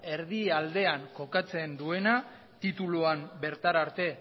erdi aldean kokatzen duena tituluan bertara arte